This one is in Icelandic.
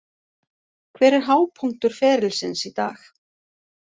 Hver er hápunktur ferilsins í dag?